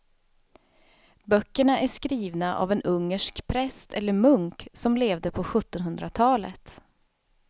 Böckerna är skrivna av en ungersk präst eller munk som levde på sjuttonhundratalet.